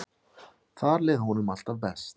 Þar leið honum alltaf best.